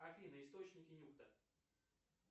афина источники нюхта